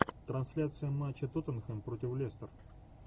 трансляция матча тоттенхэм против лестер